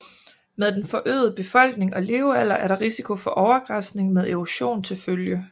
Med den forøgede befolkning og levealder er der risiko for overgræsning med erosion til følge